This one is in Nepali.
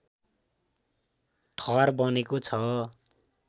थर बनेको छ